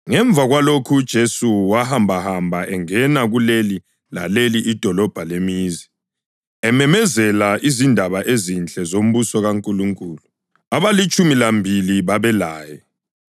Ngemva kwalokho uJesu wahambahamba engena kuleli laleli idolobho lemizi, ememezela izindaba ezinhle zombuso kaNkulunkulu. Abalitshumi lambili babelaye,